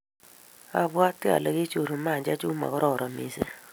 abwatii ale Kijerumani chechuk komakororon mising.